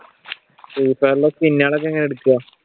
ഫ്രീഫയറിൽ സ്കിന്നുകളൊക്കെ എങ്ങനാ എടുക്കുക?